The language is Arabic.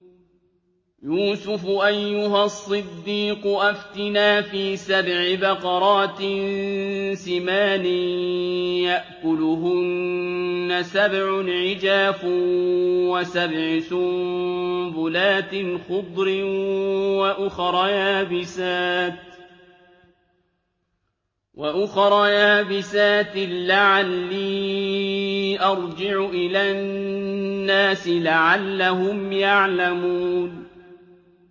يُوسُفُ أَيُّهَا الصِّدِّيقُ أَفْتِنَا فِي سَبْعِ بَقَرَاتٍ سِمَانٍ يَأْكُلُهُنَّ سَبْعٌ عِجَافٌ وَسَبْعِ سُنبُلَاتٍ خُضْرٍ وَأُخَرَ يَابِسَاتٍ لَّعَلِّي أَرْجِعُ إِلَى النَّاسِ لَعَلَّهُمْ يَعْلَمُونَ